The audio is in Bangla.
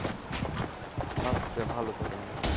আচ্ছা ভালো থাকেন ভাইয়া।